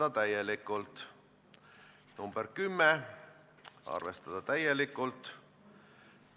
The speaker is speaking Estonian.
Aga milles siis seisnevad sisulised probleemid?